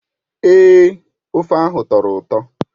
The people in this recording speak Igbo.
Èé, ofe ahụ tọrọ ụtọ.